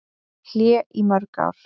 Hlé í mörg ár